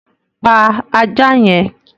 Pa ajá yẹn!